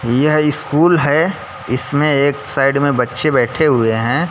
यह स्कूल है इसमें एक साइड में बच्चे बैठे हुए हैं।